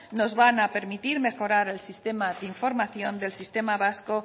nos van a permitir mejorar el sistema de información del sistema vasco